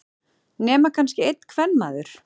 Nema kannski einn kvenmaður.